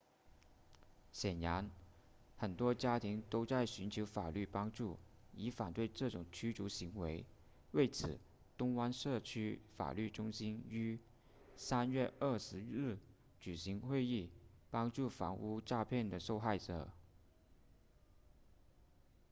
显然很多家庭都在寻求法律帮助以反对这种驱逐行为为此东湾社区法律中心于3月20日举行会议帮助房屋诈骗的受害者